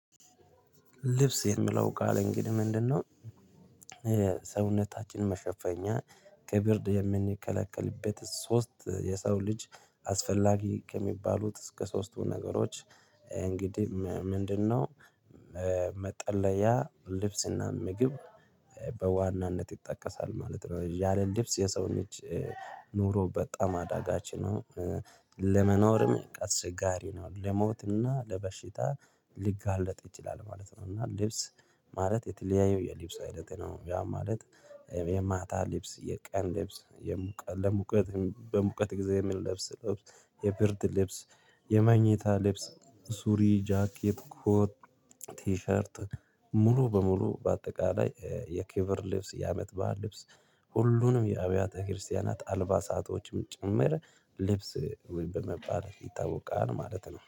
ልብስ የሚለው ቃል እንግዲህ ምንድነው? ሰውነታችንን መሸፈኛ ከብርድ የምንከለከልበት ሶስት የሰው ልጅ አስፈላጊ ከሚባሉት እስከ ሶስቱ ነገሮች እንግዲህ ምንድነው መጠለያ ልብስና ምግብ። በዋናነት ይጠቀሳል ማለት ነው ያለ ልብስ የሰውን ጅ ኖሮ በጣም አዳጋ ነው። ለመኖርም አስቸጋሪ ነው ለሞትና ለበሽታ ሊጋለጥ ይችላል ማለት ነው። እና ልብስ ማለት የተለያየ የሊብስ አይነት ነው። ያ ማለት የማታ ልብስ የቀን ልብስ የሙቀ ለሙቀት በሙቀት ጊዜ የምንለብስ ልብስ የብርድ ልብስ። የመኘታ ልብስ ሱሪ ጃኬት ኮት ቲሸርት ሙሉ በሙሉ በአጠቃላይ የኬቨር ልብስ የአመት በዓል ልብስ። ሁሉንም የአብያተ ክርስቲያናት አልባሳቶችም ጭምር ልብስ ወይ በመባል ይታወቃል ማለት ነው